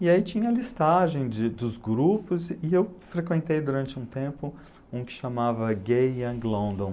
E aí tinha a listagem de dos grupos e eu frequentei durante um tempo um que chamava Gay Young London.